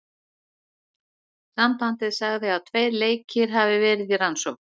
Sambandið sagði að tveir leikir hafi verði í rannsókn.